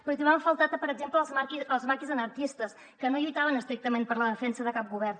però hi trobem a faltar per exemple els maquis anarquistes que no lluitaven estrictament per la defensa de cap govern